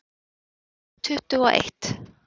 Tvö þúsund tuttugu og eitt